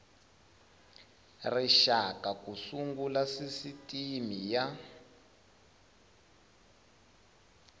rixaka ku sungula sisitimi y